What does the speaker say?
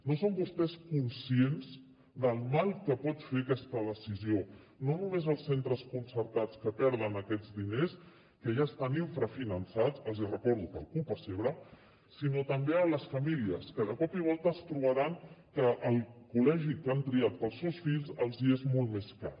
no són vostès conscients del mal que pot fer aquesta decisió no només als centres concertats que perden aquests diners que ja estan infrafinançats els hi recordo per culpa seva sinó també a les famílies que de cop i volta es trobaran que el col·legi que han triat per als seus fills els és molt més car